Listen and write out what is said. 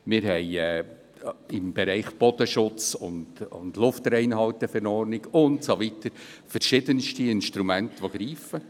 Wir haben im Bereich Bodenschutz und Luftreinhalteverordnung und so weiter verschiedenste Instrumente, die greifen.